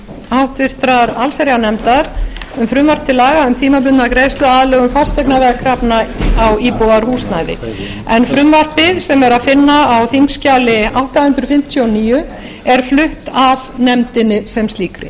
háttvirtrar allsherjarnefndar um frumvarp til laga um tímabundna greiðsluaðlögun fasteignaveðkrafna á íbúðarhúsnæði frumvarpið sem er að finna á þingskjali átta hundruð fimmtíu og níu er flutt af nefndinni sem slíkri